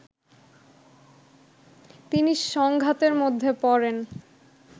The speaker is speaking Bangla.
তিনি সংঘাতের মধ্যে পড়েন